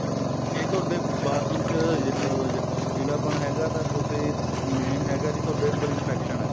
ਜੇ ਤੁਹਾਡੇ bathroom ਚ ਅਹ ਪੀਲਾ ਪਨ ਹੈਗਾ ਤਾਂ ਤੁਸੀਂ main ਹੈਗਾ ਜੀ ਤੁਹਾਡੇ ਅੰਦਰ infection ਏ